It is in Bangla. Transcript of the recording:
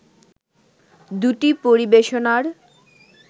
দুটি পরিবেশনার